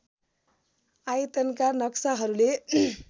आयतनका नक्साहरूले